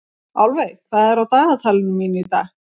Álfey, hvað er á dagatalinu í dag?